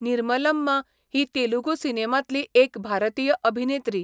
निर्मलम्मा ही तेलुगू सिनेमांतली एक भारतीय अभिनेत्री.